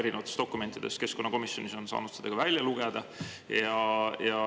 Erinevatest dokumentidest on keskkonnakomisjonis saanud seda ka lugeda.